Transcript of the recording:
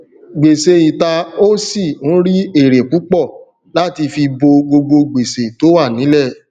gbèsè ìta ó sì ń rí èrè púpọ láti fi bo gbogbo gbèsè tó wà nílẹ